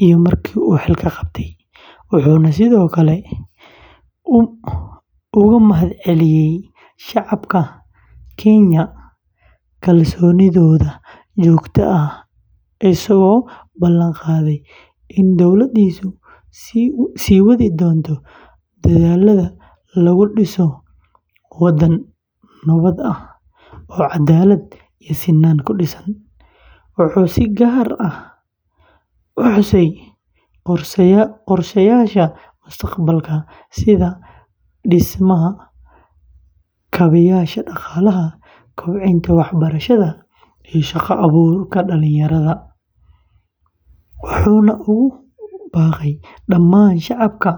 iyo markii uu xilka qabtay, wuxuuna sidoo kale uga mahadceliyey shacabka kenya kalsoonidooda joogtada ah, isagoo ballan qaaday in dowladdiisu sii wadi doonto dadaallada lagu dhisayo waddan nabad ah oo cadaalad iyo sinnaan ku dhisan, wuxuu si gaar ah u xusay qorsheyaasha mustaqbalka sida dhismaha kaabeyaasha dhaqaalaha, kobcinta waxbarashada, iyo shaqo abuurka dhalinyarada, wuxuuna ugu baaqay dhammaan shacabka.